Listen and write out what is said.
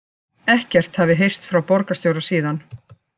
Ekkert hafi heyrst frá borgarstjóra síðan